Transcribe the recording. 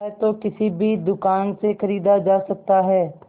वह तो किसी भी दुकान से खरीदा जा सकता है